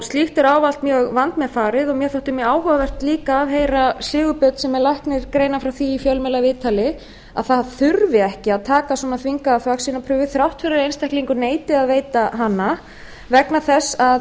slíkt er ávallt mjög vandmeðfarið og mér þætti mjög áhugavert líka að heyra sigurbjörn sem er læknir greina frá því í fjölmiðlaviðtali að það þurfi ekki að taka svona þvingaða þvagsýnaprufu þrátt fyrir að einstaklingurinn neiti að veita hana vegna þess